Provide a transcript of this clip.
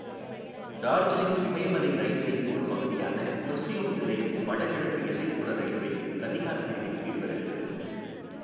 டார்ஜிலிங் இமயமலை இரயில்வேயின் ஒரு பகுதியான குர்சியோங் நிலையம் வடகிழக்கு எல்லைப்புற இரயில்வேயின் கதிஹார் பிரிவின் கீழ் வருகிறது.